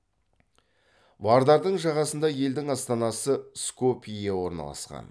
вардардың жағасында елдің астанасы скопье орналасқан